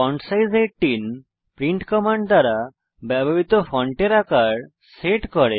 font size 18 print command দ্বারা ব্যবহৃত ফন্টের আকার সেট করে